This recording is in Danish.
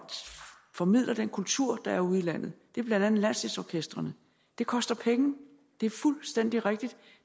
formidler den kultur der er ude i landet det er blandt andet landsdelsorkestrene det koster penge det er fuldstændig rigtigt